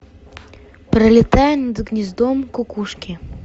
пролетая над гнездом кукушки